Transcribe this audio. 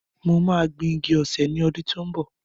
Mo máa gbin igi osè ní ọdún tó ń bọ̀.